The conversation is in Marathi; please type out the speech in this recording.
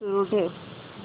सुरू ठेव